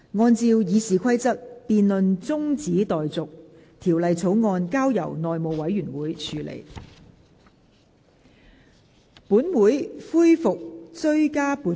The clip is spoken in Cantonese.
按照《議事規則》，這辯論現在中止待續，條例草案則交由內務委員會處理。